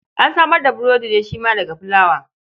An samar da burodi ne shi ma daga fulawa.